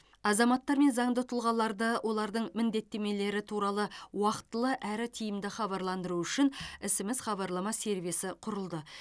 азаматтар мен заңды тұлғаларды олардың міндеттемелері туралы уақытылы әрі тиімді хабарландыру үшін смс хабарлама сервисі құрылды